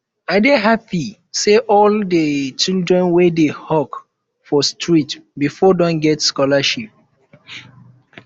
i dey happy um say all um the children wey dey hawk for street before don get scholarship